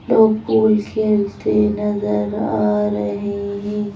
लोग पूल खेलते नजर आ रहे हैं।